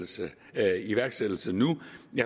iværksættelse nu